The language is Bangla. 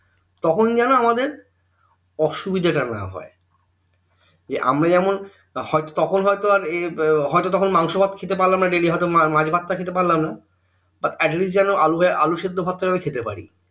তখন যেন আমাদের অসুবিধা টা না হয় যে আমরা যেমন হয়তো তখন হয়তো আর এই মাংসভাত খেতে পারলামনা daily হয়তো মাছ ভাত খেতে পারলামনা এতদিন যেন আলু ভাজা আলু সেদ্ধ ভাত খেতে পারি